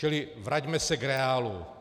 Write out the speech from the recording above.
Čili vraťme se k reálu.